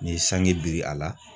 N'i ye sange biri a la